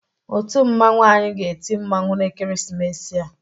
Otu mmanwụ anyị ga-eti mmanwụ n'ekeresimesi a.